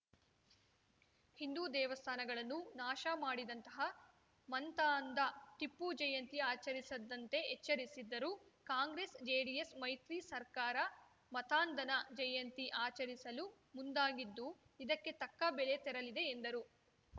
ಹಿಂದು ದೇವಸ್ಥಾನಗಳನ್ನು ನಾಶ ಮಾಡಿದಂತಹ ಮಂತಾಂಧ ಟಿಪ್ಪು ಜಯಂತಿ ಆಚರಿಸದಂತೆ ಎಚ್ಚರಿಸಿದ್ದರೂ ಕಾಂಗ್ರೆಸ್‌ಜೆಡಿಎಸ್‌ ಮೈತ್ರಿ ಸರ್ಕಾರ ಮತಾಂಧನ ಜಯಂತಿ ಆಚರಿಸಲು ಮುಂದಾಗಿದ್ದು ಇದಕ್ಕೆ ತಕ್ಕ ಬೆಲೆ ತೆರಲಿದೆ ಎಂದರು